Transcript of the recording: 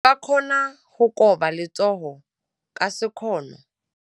O ka kgona go koba letsogo ka sekgono.